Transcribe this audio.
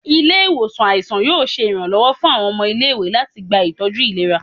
Ile-iwosan aisan yoo ṣe iranlọwọ fun awọn ọmọ ile-iwe lati gba itọju ilera